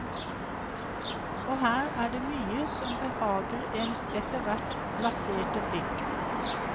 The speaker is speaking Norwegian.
Og her er det mye som behager ens etterhvert blaserte blikk.